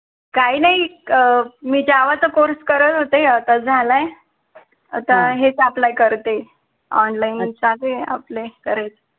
काही नाही अं मी java चा course करत होते आता झालाय आता हेच apply करते online ते apply करायचंय